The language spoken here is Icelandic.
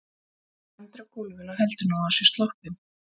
Edda lendir á gólfinu og heldur að nú sé hún sloppin.